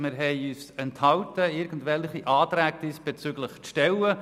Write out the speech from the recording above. Wir haben darauf verzichtet, diesbezüglich irgendwelche Anträge zu stellen.